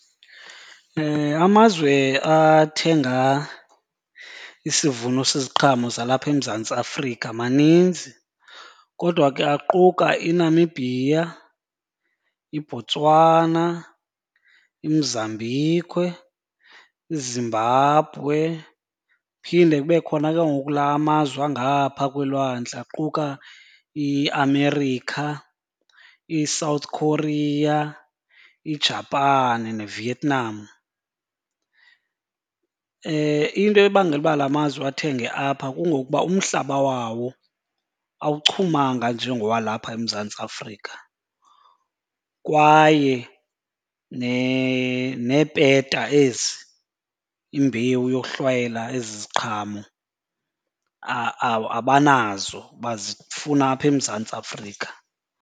Amazwe athenga isivuno seziqhamo zalapha eMzantsi Afrika maninzi. Kodwa ke aquka iNamibia, iBotswana, iMozambique, iZimbabwe. Phinde kube khona ke ngoku laa mazwe angapha kweelwandle aquka iAmerica, iSouth Korea, iJapan neVietnam. Into ebangela uba la mazwe athenge apha kungokuba umhlaba wawo awuchumanga njengowalapha eMzantsi aAfrika kwaye neepeta ezi, imbewu yohlwayela ezi ziqhamo, abanazo bazifuna apha eMzantsi Afrika.